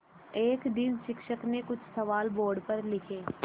एक दिन शिक्षक ने कुछ सवाल बोर्ड पर लिखे